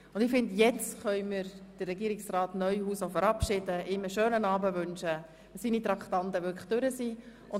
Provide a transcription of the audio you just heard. Nun können wir Regierungsrat Neuhaus verabschieden, und ich wünsche ihm einen schönen Abend.